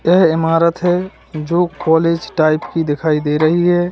यह इमारत है जो कॉलेज टाइप की दिखाई दे रही है।